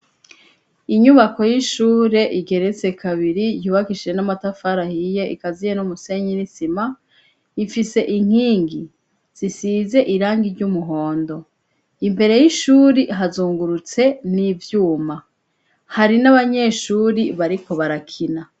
Inyubako y'ishure igeretse kabiri yubakishije n'amatafari ahiye ikaziye n'umusenyi n'isima ifise inkingi zisize irangi ry'umuhondo imbere y'ishuri hazungurutse n'ivyuma hari n'abanyeshuri bariko barakina.